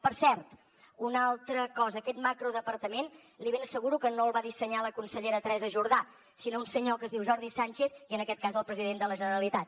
per cert una altra cosa aquest macrodepartament li ben asseguro que no el va dissenyar la consellera teresa jordà sinó un senyor que es diu jordi sánchez i en aquest cas el president de la generalitat